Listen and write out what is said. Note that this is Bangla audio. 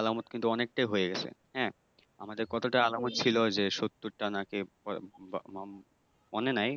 আলামত কিন্তু অনেকটাই হয়ে গেছে হ্যাঁ আমাদের কতটা আলামত ছিল যে সত্তরটা নাকি কতটা আলামত ছিল মনে নাই।